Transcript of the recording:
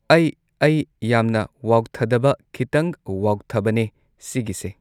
ꯑꯩ ꯑꯩ ꯌꯥꯝꯅ ꯋꯥꯎꯊꯗꯕ ꯈꯤꯇꯪ ꯋꯥꯎꯊꯕꯅꯦ ꯁꯤꯒꯤꯁꯦ